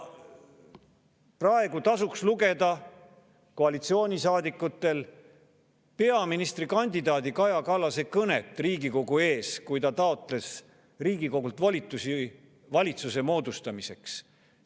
Praegu tasuks koalitsioonisaadikutel lugeda peaministrikandidaat Kaja Kallase kõnet Riigikogu ees, kui ta taotles Riigikogult volitusi valitsuse moodustamiseks.